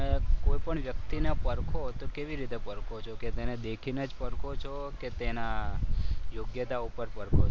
તમે કોઈપણ વ્યક્તિને પરખો તો કેવી રીતે ઓળખો છો કે તેને દેખીને જ પરખો છો કે તેના યોગ્યતા ઉપર પરખો છો?